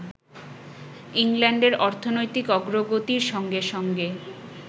ইংল্যাণ্ডের অর্থনৈতিক অগ্রগতির সঙ্গে সঙ্গে